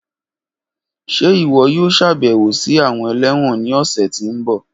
Ṣe iwọ yoo ṣabẹwo si awọn élẹ́wọ̀n ni ọsẹ ti n bọ?